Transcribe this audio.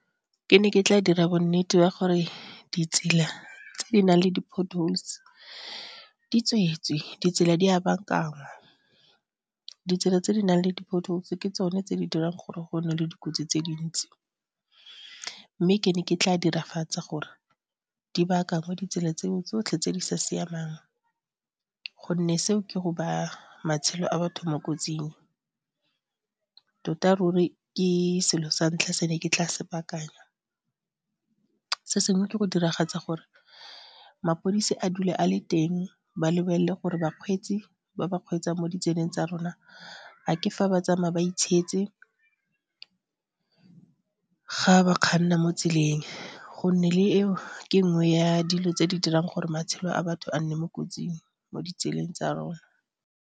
Ke ne ke tla dira bonnete ba gore ditsela tse di nang le di-potholes di tswetswe, ditsela di a bakaangwa, ditsela tse di nang le di-potholes ke tsone tse di dirang gore go nne le dikotsi tse dintsi, mme ke ne ke tla diragatsa gore di baakanngwe ditsela tseo tsotlhe tse di sa siamang gonne seo ke go baya matshelo a batho mo kotsing. Tota ruri ke selo sa ntlha se ne ke tla se baakanya. Se sengwe ke go diragatsa gore mapodisi a dule a le teng ba lebelele gore bakgweetsi ba ba kgweetsang mo ditseleng tsa rona a ke fa ba tsamaya ba itshietse, ga ba kganna mo tseleng go nne le eo ke nngwe ya dilo tse di dirang gore matshelo a batho a nne mo kotsing mo ditseleng tsa rona.